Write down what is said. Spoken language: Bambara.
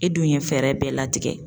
E dun ye fɛɛrɛ bɛɛ latigɛ.